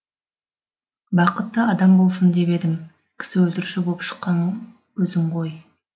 бақытты адам болсын деп едім кісі өлтіруші боп шыққан өзің ғой